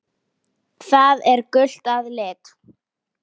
Það er gult að lit.